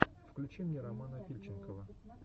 включи мне романа фильченкова